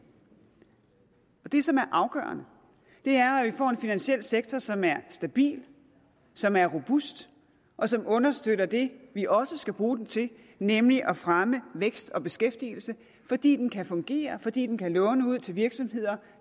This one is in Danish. det som er afgørende er at vi får en finansiel sektor som er stabil som er robust og som understøtter det vi også skal bruge den til nemlig at fremme vækst og beskæftigelse fordi den kan fungere fordi den kan låne ud til virksomheder